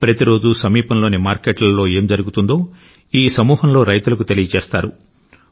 ప్రతిరోజూ సమీపంలోని మార్కెట్లలో ఏం జరుగుతుందో సమూహంలో రైతులకు తెలియజేస్తారు